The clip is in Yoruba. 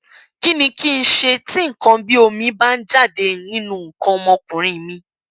kí ni kí n ṣe tí nǹkan bí omi bá ń jáde nínú nǹkan ọmọkùnrin mi